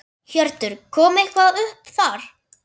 Hjörtur: Kom eitthvað upp þar?